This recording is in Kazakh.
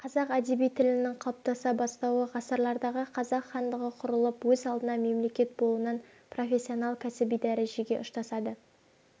қазақ әдеби тілінің қалыптаса бастауы ғасырлардағы қазақ хандығы құрылып өз алдына мемлекет болуынан профессионал-кәсіби дәрежеге ұштасады